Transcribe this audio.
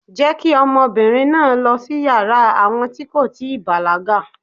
Jé kí ọ̀dọ́mobìnrìn náà lọ́ sí yàrá àwọn tí kò tíì bàlágà